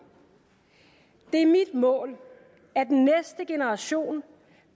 det er mit mål at den næste generation